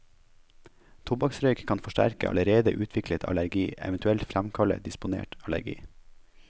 Tobakksrøyk kan forsterke allerede utviklet allergi, eventuelt fremkalle disponert allergi.